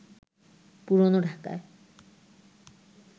পুরনো ঢাকায়